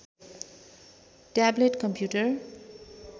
tablet computer